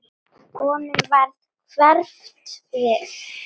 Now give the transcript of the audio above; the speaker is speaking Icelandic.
Honum varð hverft við.